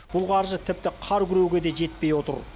бұл қаржы тіпті қар күреуге де жетпей отыр